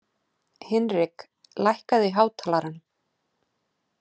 Hinrik, lækkaðu í hátalaranum.